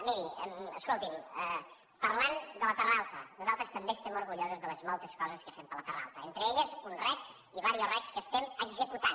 miri escolti’m parlant de la terra alta nosaltres també estem orgullosos de les moltes coses que fem per la terra alta entre elles un rec i diversos recs que estem executant